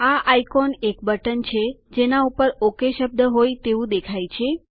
આ આઇકોન એક બટન જેના ઉપર ઓક શબ્દ હોય તેવું દેખાય છે